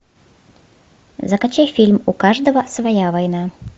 закачай фильм у каждого своя война